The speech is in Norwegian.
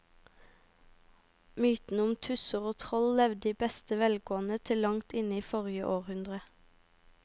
Mytene om tusser og troll levde i beste velgående til langt inn i forrige århundre.